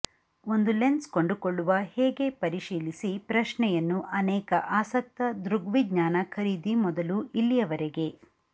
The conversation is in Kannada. ಒಂದು ಲೆನ್ಸ್ ಕೊಂಡುಕೊಳ್ಳುವ ಹೇಗೆ ಪರಿಶೀಲಿಸಿ ಪ್ರಶ್ನೆಯನ್ನು ಅನೇಕ ಆಸಕ್ತ ದೃಗ್ವಿಜ್ಞಾನ ಖರೀದಿ ಮೊದಲು ಇಲ್ಲಿಯವರೆಗೆ